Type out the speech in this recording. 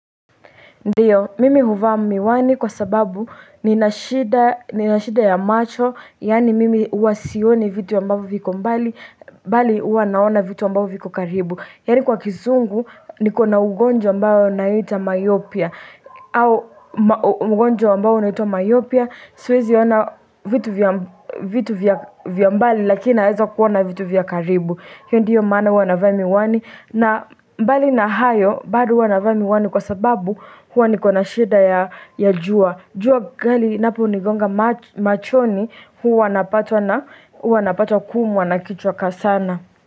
Ndio, mimi huvaa miwani kwa sababu nina shida ya macho, yaani mimi huwa sioni vitu ambavyo viko mbali, bali huwa naona vitu ambavyo viko karibu. Yaani kwa kizungu, niko na ugonjwa ambao unaitwa myopia, au ugonjwa ambao unaitwa myopia, siwezi ona vitu vya mbali lakini naeza kuona vitu vya karibu. Hiyo ndiyo maana huwa navaa miwani, na mbali na hayo bado huwa navaa miwani kwa sababu huwa niko na shida ya jua. Jua kali linaponigonga machoni huwa napata kuumwa na kichwa kwa sana.